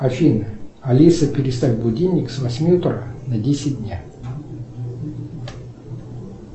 афина алиса переставь будильник с восьми утра на десять дня